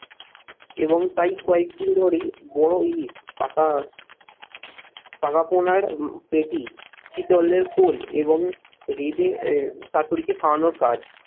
এবং তাই কয়েকদিন ধরেই বড় ইলিশ পাকা পাকা পোনার পেটি শিতলের কোল এবং রেঁধে শাশুড়িকে খাওয়ানোর কাজ